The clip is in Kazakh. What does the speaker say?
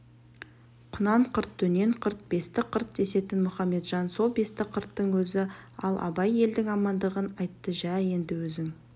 құнанқырт дөненқырт бестіқырт десетін мұхаметжан сол бестіқырттың өзі ал абай елдің амандығын айттың жә енді өзің